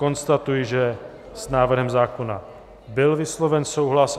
Konstatuji, že s návrhem zákona byl vysloven souhlas.